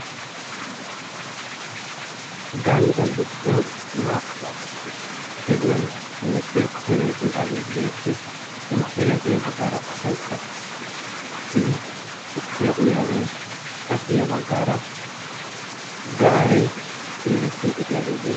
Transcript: Gandda giddon naa''u gediyan hemettiya mootori eqqidaagee beettees he motoriyappe yaa baggaara asaykka oottidi tukkiya uyaagee qassi yaa baggaara gaaree simirettiidii diyaagee